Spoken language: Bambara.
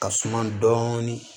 Ka suma dɔɔni